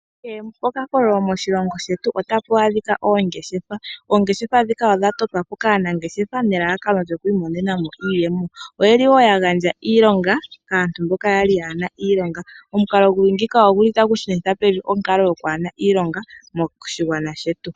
Kehe po kakololo moshilongo shetu otapu adhika oongeshefa . Oongeshefa dhika odha totwa po kaanangeshefa nelalakano lyoku imonenamo iiyemo. Oyeli woo ya gandja iilonga kaantu mboka yali yaana iilonga. Omukalo guli ngeyika ogu li tagu shunitha pevi onkalo yokuhena iilonga moshigwana shetu.